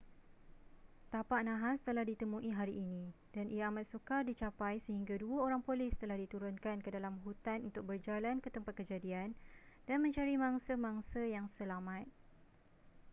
tapak nahas telah ditemui hari ini dan ia amat sukar dicapai sehingga dua orang polis telah diturunkan ke dalam hutan untuk berjalan ke tempat kejadian dan mencari mangsa-mangsa yang selamat